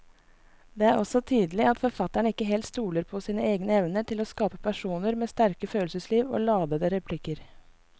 Det er også tydelig at forfatteren ikke helt stoler på sine egne evner til å skape personer med sterke følelsesliv og ladete replikker.